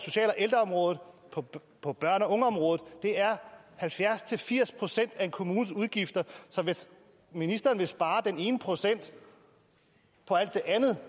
ældreområdet og på børne og ungeområdet det er halvfjerds til firs procent af en kommunes udgifter så hvis ministeren vil spare den ene procent på alt det andet